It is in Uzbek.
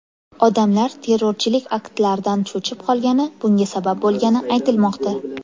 Odamlar terrorchilik aktlaridan cho‘chib qolgani bunga sabab bo‘lgani aytilmoqda.